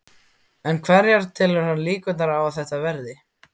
En hverjar telur hann líkurnar á að þetta verði?